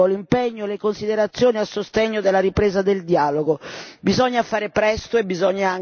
Condivido, e quindi sottoscrivo, l'impegno e le considerazioni a sostegno della ripresa del dialogo.